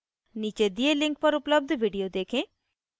नीचे दिए link पर उपलब्ध video देखें